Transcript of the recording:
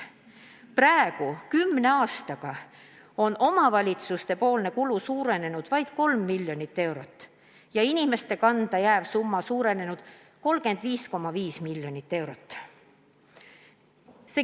Kümne aastaga oli omavalitsuste kulu suurenenud vaid 3 miljonit eurot, inimeste kanda jääv summa aga 35,5 miljonit eurot.